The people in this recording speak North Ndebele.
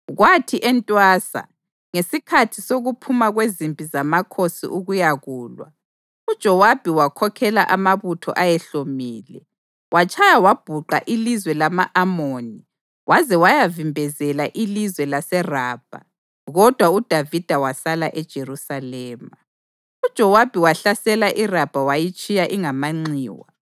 Kwathi entwasa, ngesikhathi sokuphuma kwezimpi zamakhosi ukuyakulwa, uJowabi wakhokhela amabutho ayehlomile. Watshaya wabhuqa ilizwe lama-Amoni waze wayavimbezela ilizwe laseRabha, kodwa uDavida wasala eJerusalema. UJowabi wahlasela iRabha wayitshiya ingamanxiwa.